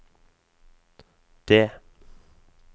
D